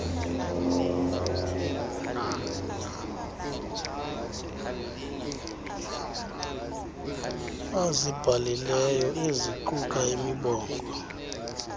azibhalileyo eziquka imibongo